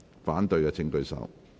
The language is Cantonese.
反對的請舉手。